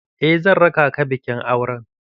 Eh zan raka ka bikin auren